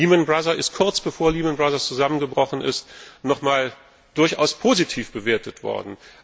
Lehman Brothers ist kurz bevor es zusammengebrochen ist, nochmals durchaus positiv bewertet worden.